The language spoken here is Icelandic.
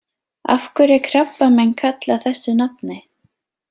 Af hverju er krabbamein kallað þessu nafni?